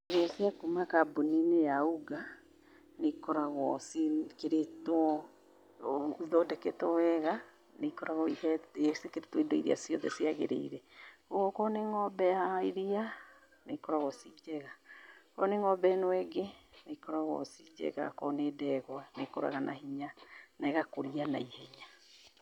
Irĩo cia kũma kambũni~inĩ ya UNGA nĩ ikoragwo ciĩkĩrĩtwo ithondeketwo wega nĩ ikoragwo ciĩkĩrĩtwo indo irĩa ciothe ciagĩrĩire. Ogũo okorwo nĩ ng'ombe ya iria nĩ ikoragwo ci njega. Okorwo nĩ ng'ombe ĩno ĩngĩ nĩ ikoragwo ci njega. okorwo nĩ ndegwa nĩ ikũraga na hĩnya na igakũria na ihenya.